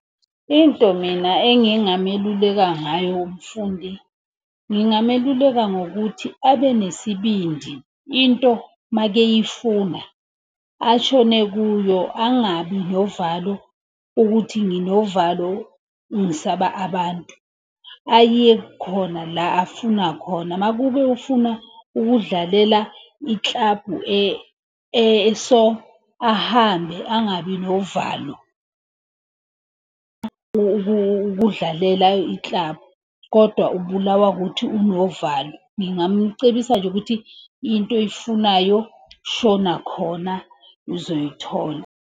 Into mina engingameluleka ngayo umfundi, ngingameluleka ngokuthi abe nesibindi, into makeyifuna ashone kuyo angabi novalo. Ukuthi nginovalo, ngisaba abantu. Aye khona la afuna khona, uma kube ufuna ukudlalela ikilabhu eso, ahambe, angabi novalo. Ukudlalela iklabhu, kodwa ubulawa ukuthi unovalo. Ngingamcebisa nje ukuthi into oyifunayo shona khona uzoyithola.